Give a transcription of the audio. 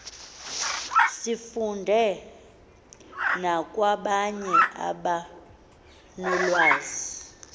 sifunde nakwabanye abanolwazi